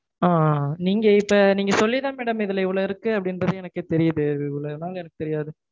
ஆஹ் நீங்க இப்போ நீங்க சொல்லிதா madam இதுல இவ்வளவு இருக்கு அப்டீன்றதே எனக்கே தெரியுது. இது இவ்வளவு நாள் எனக்கு தெரியாது.